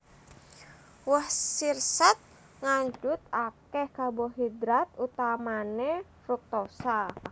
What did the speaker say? Woh sirsat ngandhut akèh karbohidrat utamané fruktosa